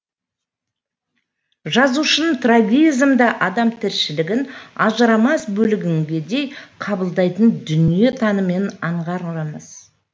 жазушының трагизмді адам тіршілігінің ажырамас бөлігіндей қабылдайтын дүниетанымын аңғарамыз